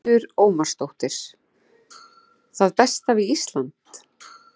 Hildur Ómarsdóttir: Það besta við Ísland?